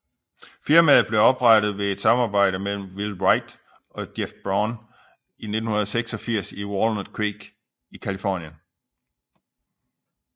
Firmaet blev oprettet ved et samarbejde mellem Will Wright og Jeff Braun 1986 i Walnut Creek i Californien